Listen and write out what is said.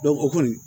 o kɔni